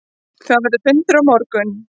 Þar verður fundur á morgun.